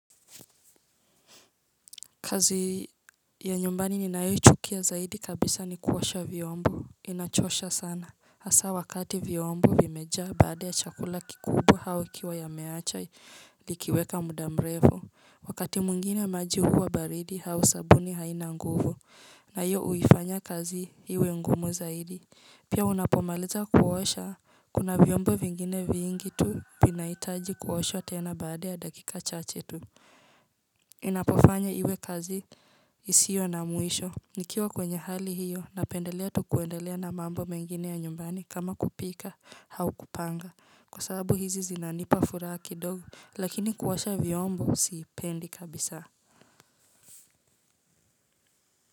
Kazi ya nyumbani ninayoichukia zaidi kabisa ni kuosha vyombo inachosha sana. Hasa wakati vyombo vimejaa baada ya chakula kikubwa au ikiwa ya meacha likiweka mudamrefu. Wakati mwingine maji huwa baridi au sabuni haina nguvu. Na hiyo uifanya kazi hiiwe ngumu zaidi. Pia unapomaliza kuosha kuna vyombo vingine vingi tu vinaitaji kuoshwa tena baada ya dakika chache tu. Ninapofanya iwe kazi isio na mwisho Nikiwa kwenye hali hiyo, napendelea tu kuendelea na mambo mengine ya nyumbani kama kupika haukupanga Kwa sababu hizi zinanipa furaha ki dogo Lakini kuosha vyombo siipendi kabisa.